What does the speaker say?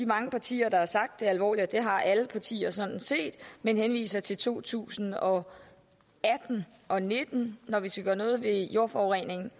mange partier der har sagt alvorligt det har alle partier sådan set men de henviser til to tusind og atten og nitten når vi skal gøre noget ved jordforureningen